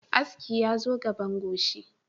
Aski yazo gaban goshi